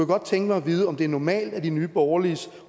godt tænke mig at vide om det er normalt at nye borgerliges